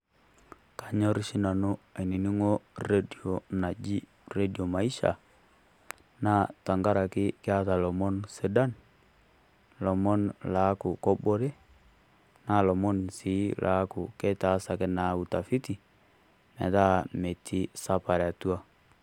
Anyor oshi nanu ainining'o redio naji Redio Maisha, naa tenkaraki eata lomon sidan, lomon loaku kobore, na lomon sii laaku keitaasaki naa utafiti, metaa metii sapare atua.